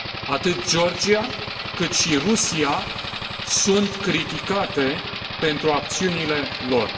Atât Georgia, cât și Rusia sunt criticate pentru acțiunile lor.